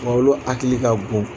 U bolo hakili ka bon